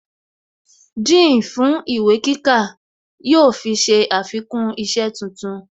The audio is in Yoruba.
Dean fún ìwé kíkà yóò fi ṣe àfikún isẹ́ tuntun